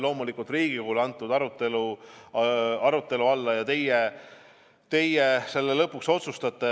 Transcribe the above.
Loomulikult on see antud arutelu alla ja teie selle lõpuks otsustate.